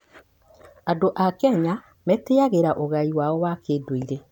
Andũ a Kenya matĩagĩra ũgai wao wa kũndũire.